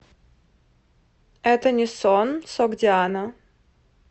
это не сон согдиана